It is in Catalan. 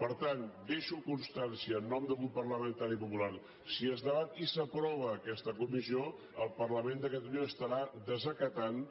per tant en deixo constància en nom del grup parlamentari popular si es debat i s’aprova aquesta comissió el parlament de catalunya estarà desacatant